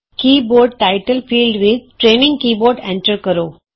keyboard title field ਵਿਚ training keyboard enter ਕਰੋ